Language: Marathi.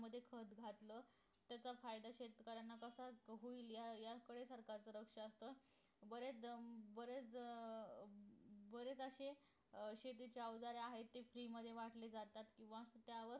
असत अं त्याचा फायदा शेतकऱ्यांना कसा होतो या या याच वेळेसारखा होतो बरेच जण बरेच अं बरेच असे अं शेतीची अवजारे आहेत ते free मध्ये वाटले जातात